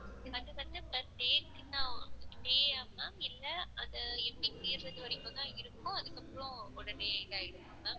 இது வந்து per day க்கு தான் per day யா ma'am இல்ல அது எப்படி தீருர வரைக்கும் தான் இருக்கும் அதுக்கு அப்பறம் அதுக்கப்புறம் உடனே இதாயிடுமா ma'am?